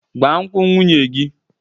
Gbaa nkwụ nwunye gị!